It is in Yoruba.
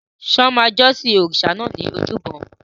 Ṣé wọ́n máa jọ́sìn òrìṣà náà ní ojúbọ?